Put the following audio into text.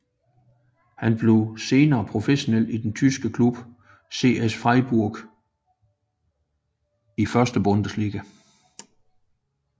Han blev senere professionel i den tyske klub SC Freiburg i 1